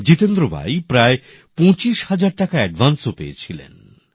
জিতেন্দ্র ভাই প্রায় ২৫০০০ টাকা এডভান্সও পেয়েছিলেন